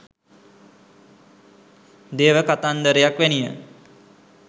දේව කතන්දරයක් වැනිය